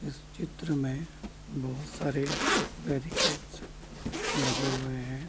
इस चित्र में बहोत सारे बेरिकेट्स लगे हुए हैं।